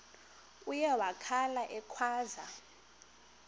uye wakhala ekhwaza